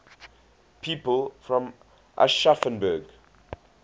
people from aschaffenburg